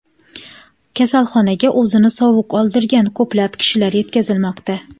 Kasalxonaga o‘zini sovuq oldirgan ko‘plab kishilar yetkazilmoqda.